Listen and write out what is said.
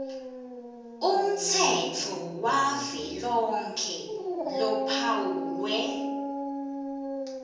umtsetfo wavelonkhe lophawulwe